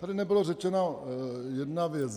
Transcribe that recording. Tady nebyla řečena jedna věc.